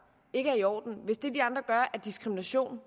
ikke er i orden hvis det de andre gør er diskrimination